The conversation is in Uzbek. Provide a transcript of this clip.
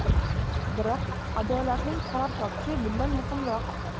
Biroq adolatning qaror topishi bundan muhimroq.